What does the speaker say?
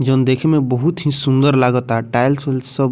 जोन देखे मे बहुत ही सुंदर लागता टाइल्स उल्स सब।